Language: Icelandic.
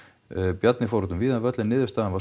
Bjarni fór út um víðan völl en niðurstaðan var